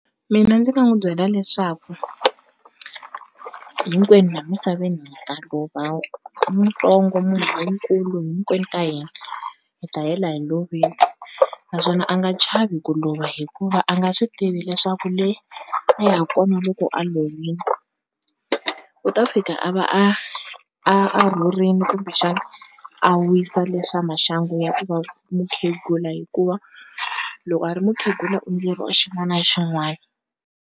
Mina ndzi nga n'wu byela leswaku hinkwenu la misaveni hi ta lova muntsongo munhu lonkulu hinkwenu ka hina hi ta hela hi lovile, naswona a nga chavi ku lova hikuva a nga swi tivi leswaku le a ya ku ko a loko a lovile u ta fika a va a a a rhurini kumbexana a wisa leswa maxangu ya ku va mukhegula hikuva loko a ri mukhegula u endleriwa xin'wana na xin'wana.